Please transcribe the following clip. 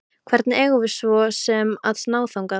Hvernig eigum við svo sem að ná þangað?